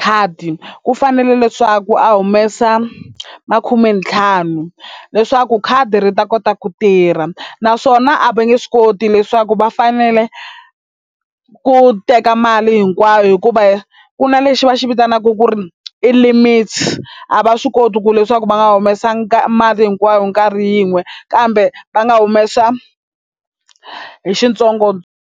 khadi ku fanele leswaku a humesa ma khumentlhanu leswaku khadi ri ta kota ku tirha naswona a va nge swi koti leswaku va fanele ku teka mali hinkwayo hikuva ku na lexi va xi vitanaka ku ri i limits a va swi koti ku leswaku va nga humesangi mali hinkwayo nkarhi yin'we kambe va nga humesa hi xintsongo.